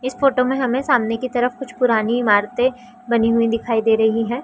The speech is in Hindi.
इस फोटो में हमे सामने की तरफ कुछ पुरानी इमारते बनी हुई दिखाई दे रही है।